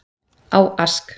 Á Ask.